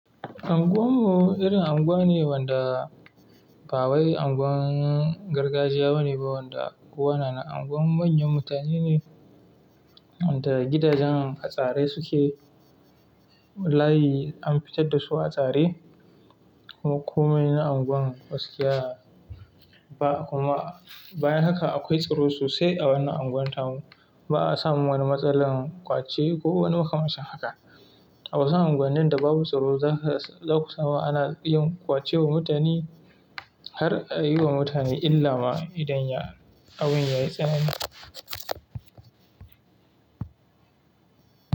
Anguwan mu irin anguwa ne wanda ba wai anguwan gargajiya bane ba wanda unguwa na na anguwan manyan mutane ne wanda gidajen ha tsare suke layi an fitar da su a tsare ko mai na anguwan gaskiya ba kuma bayan haka akwai tsaro sosai a wannan anguwan ta mu ba'a samu wani matsalar ƙwace ko wani waƙa macen haka a wasu anguwanan da babu tsoro zaka saba ana yin ƙwace wa mutane har a yi wa mutane illa ma idan ya abun yayi tsanani.